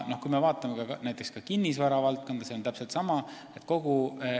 Kui me vaatame näiteks kinnisvara valdkonda, siis seal on täpselt sama lugu.